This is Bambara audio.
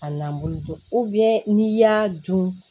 A nan bolo don n'i y'a dun